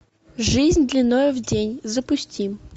жизнь длиною в день запусти